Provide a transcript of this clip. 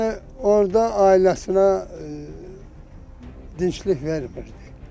Yəni orda ailəsinə dinclik vermirdi.